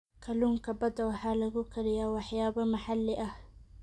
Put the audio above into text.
Kalluunka badda waxaa lagu kariyaa waxyaabo maxalli ah.